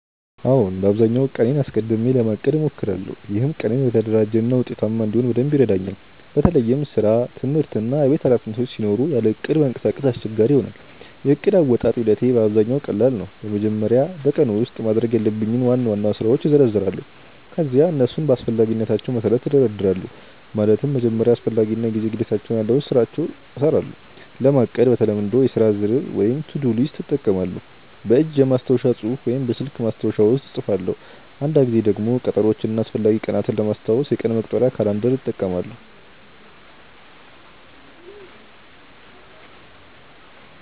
አዎን፣ በአብዛኛው ቀኔን አስቀድሜ ለማቀድ እሞክራለሁ። ይህም ቀኔን የተደራጀ እና ውጤታማ እንዲሆን በደንብ ይረዳኛል። በተለይም ስራ፣ ትምህርት እና የቤት ኃላፊነቶች ሲኖሩ ያለ እቅድ መንቀሳቀስ አስቸጋሪ ይሆናል። የዕቅድ አወጣጥ ሂደቴ በአብዛኛው ቀላል ነው። በመጀመሪያ በቀኑ ውስጥ ማድረግ ያለብኝን ዋና ዋና ስራዎች እዘረዝራለሁ። ከዚያ እነሱን በአስፈላጊነታቸው መሠረት እደርድራለሁ፤ ማለትም በመጀመሪያ አስፈላጊ እና የጊዜ ግዴታ ያላቸውን ስራዎች እሰራለሁ። ለማቀድ በተለምዶ የሥራ ዝርዝር (to-do list) እጠቀማለሁ፣ በእጅ በማስታወሻ መጽሐፍ ወይም በስልክ ማስታወሻ ውስጥ እጽፋለሁ። አንዳንድ ጊዜ ደግሞ ቀጠሮዎችን እና አስፈላጊ ቀናትን ለማስታወስ የቀን መቁጠሪያ (calendar) እጠቀማለሁ።